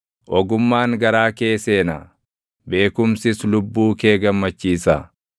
Ogummaan garaa kee seena; beekumsis lubbuu kee gammachiisa.